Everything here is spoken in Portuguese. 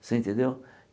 Você entendeu?